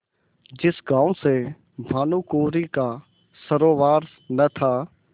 जिस गॉँव से भानुकुँवरि का सरोवार न था